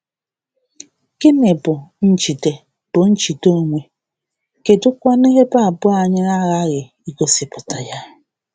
Gịnị um bụ njide bụ njide onwe, kedụkwanụ ebe abụọ anyị aghaghị um igosipụta ya?